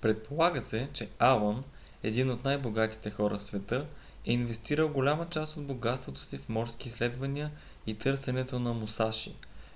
предполага се че алън един от най-богатите хора в света е инвестирал голяма част от богатството си в морски изследвания и търсенето на мусаши